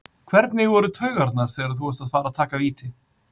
Hvernig voru taugarnar þegar þú varst að fara að taka víti?